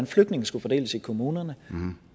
flygtninge skulle fordeles i kommunerne